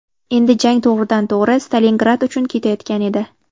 Endi jang to‘g‘ridan to‘g‘ri Stalingrad uchun ketayotgan edi.